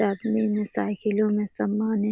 में साइकिलों में समान है।